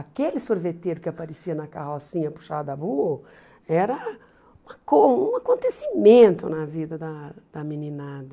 Aquele sorveteiro que aparecia na carrocinha puxada a burro era um acon um acontecimento na vida da da meninada.